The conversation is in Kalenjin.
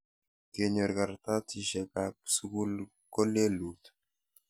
kenyor kartasishekap sukul ko lelut?